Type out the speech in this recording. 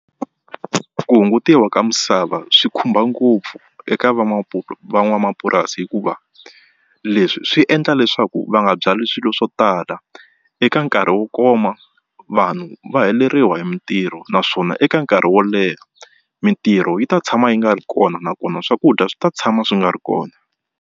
Ku hungutiwa ka misava swi khumba ngopfu eka van'wamapurasi hikuva leswi swi endla leswaku va nga byali swilo swo tala eka nkarhi wo koma vanhu va heleriwa hi mitirho naswona eka nkarhi wo leha mitirho yi ta tshama yi nga ri kona nakona swakudya swi ta tshama swi nga ri kona.